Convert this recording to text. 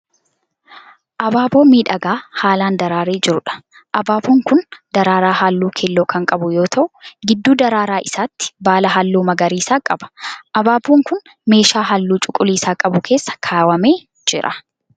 Abaaboo miidhagaa haalaan daraaree jiruudha. Abaaboon kun daraaraa halluu keelloo kan qabu yoo ta'u gidduu daraara isaatii baala halluu magariisa qaba. Abaaboon kun meeshaa halluu cuquliisa qabu keessa ka'amee jira.